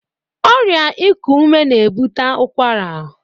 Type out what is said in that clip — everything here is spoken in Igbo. Ọrịa iku ume na-ebute ụkwara.